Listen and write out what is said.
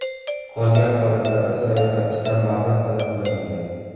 Qolgan holatlarda sayohatchidan mablag‘ talab qilinmagan.